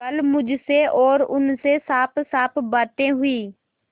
कल मुझसे और उनसे साफसाफ बातें हुई